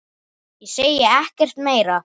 Ég segi ekkert meira.